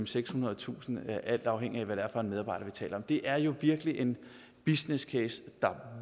sekshundredetusind kr alt afhængigt af hvad det er for en medarbejder vi taler om det er jo virkelig en businesscase der